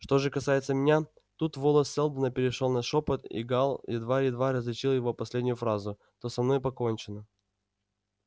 что же касается меня тут голос сэлдона перешёл на шёпот и гаал едва-едва различил его последнюю фразу то со мной покончено